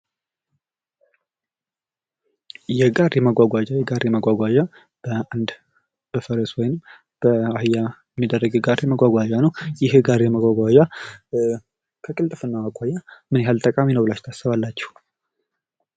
የጋሪ መጓጓዣ ፦የጋሪ መጓጓዣ በአንድ በፈረስ ወይም በአህያ የሚደረግ የጋሪ መጓጓዣ ነው ። ይህ የጋሪ መጓጓዣ ከቅልጥፍናው አኳያ ምን ያክል ጠቃሚ ብላችሁ ታስባላችሁ ?